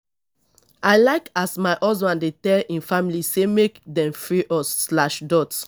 i like as my husband dey tell im family sey make dem free us slash dot